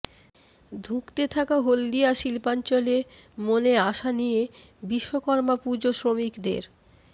ধুঁকতে থাকা হলদিয়া শিল্পাঞ্চলে মনে আশা নিয়ে বিশ্বকর্মা পুজো শ্রমিকদের